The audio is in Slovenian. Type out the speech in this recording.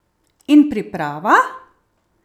In priprava?